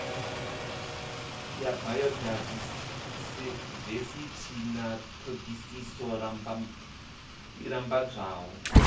ya bayodaivesithi na thodisiso lambedzwaho